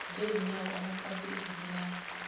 bezinyawo abafakwe izibulala